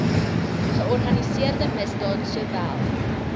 georganiseerde misdaad sowel